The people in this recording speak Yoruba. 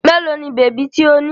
Mélòó ni bèbí tí ó ní?